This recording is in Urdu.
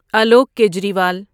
الوک کیجریوال